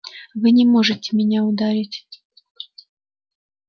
вы не можете меня ударить